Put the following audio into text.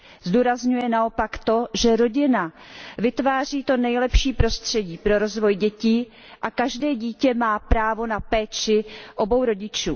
Zdůrazňuje naopak to, že rodina vytváří to nejlepší prostředí pro rozvoj dětí a každé dítě má právo na péči obou rodičů.